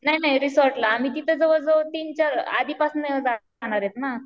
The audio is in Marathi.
नाही नाही रिसॉर्टला आम्ही तिथं जवळ जवळ तीन चार आधी पासून जनरेट ना.